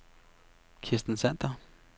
Kirsten Sander